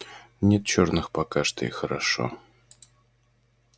нет черных пока что и хорошо